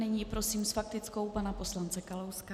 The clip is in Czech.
Nyní prosím s faktickou pana poslance Kalouska.